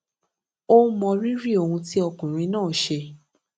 ó mọ rírì ohun tí ọkùnrin náà ṣe